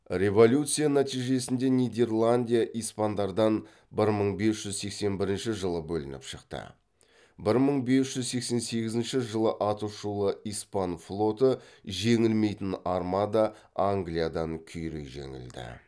революция нәтижесінде нидерландия испандардан бір мың бес жүз сексен бірінші жылы бөлініп шықты бір мың бес жүз сексен сегізінші жылы аты шулы испан флоты жеңілмейтін армада англиядан күйрей жеңілді